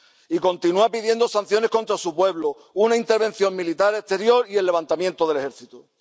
Y continúa pidiendo sanciones contra su pueblo, una intervención militar exterior y el levantamiento del ejército.